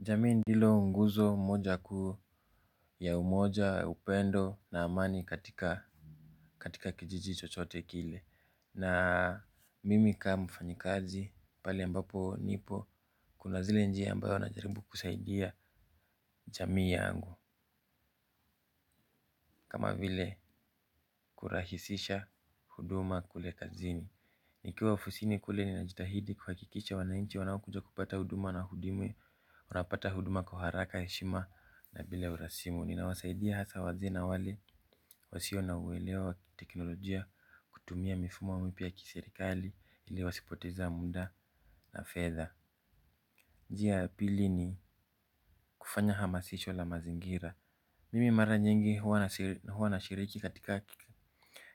Jamii ndilo nguzo mmoja kuu ya ummoja, upendo na amani katika kijiji chochote kile. Na mimi ka mfanyikazi, pale ambapo nipo, kuna zile njia ambayo na jaribu kusaidia jamii yangu. Kama vile, kurahisisha huduma kule kazini. Nikiwa ofisini kule nina jitahidi kuhakikisha wanainchi wanaokuja kupata huduma na hudimi. Unapata huduma kwa haraka heshima, na bila urasimu. Ninawasaidia hasa wazee na wale wasio na uwelewa wa teknolojia. Kutumia mifumo mipya ya kiserikali, ili wasipoteze muda na fedha. Njia ya pili ni kufanya hamasisho la mazingira. Mimi mara nyingi huwa na shiriki katika,